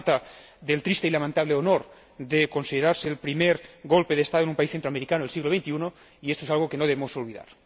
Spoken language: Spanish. se trata del triste y lamentable honor de considerarse el primer golpe de Estado en un país centroamericano en el siglo XXI, y esto es algo que no debemos olvidar.